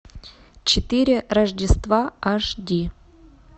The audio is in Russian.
четыре рождества аш ди